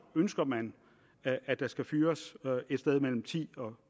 ønsker man at der skal fyres et sted mellem titusind